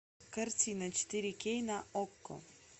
картина четыре кей на окко